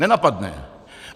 Nenapadne.